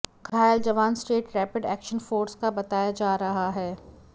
घायल जवान state rapid action force का बताया जा रहा है